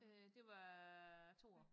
Øh det var 2 år